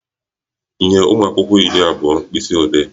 Nye ụmụ akwụkwọ iri abụọ mkpisiodee!